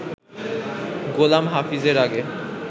গোলাম হাফিজ এর আগে